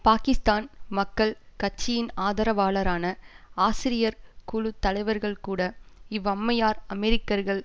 பாக்கிஸ்தான் மக்கள் கட்சியின் ஆதரவாளரான ஆசிரியர் குழு தலைவர்கூட இவ்வம்மையார் அமெரிக்கர்கள்